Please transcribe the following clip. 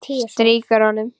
Strýkur honum.